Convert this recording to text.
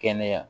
Kɛnɛya